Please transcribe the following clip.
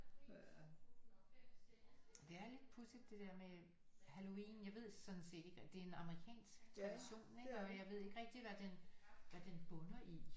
Det er lidt pudsigt det der med halloween jeg ved sådan set ikke rigtig det er en amerikansk tradition ikke jeg ved ikke rigtig hvad den hvad den bunder i